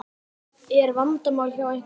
Er vandamál hjá einhverjum?